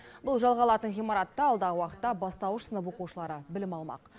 бұл жалға алатын ғимаратта алдағы уақытта бастауыш сынып оқушылары білім алмақ